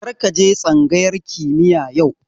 Kar ka je tsangayar kimiya yau